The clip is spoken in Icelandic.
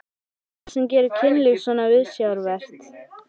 Hvað er það sem gerir kynlíf svona viðsjárvert?